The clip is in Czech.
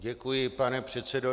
Děkuji, pane předsedo.